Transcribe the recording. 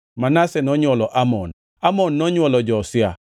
Manase nonywolo Amon, Amon nonywolo Josia.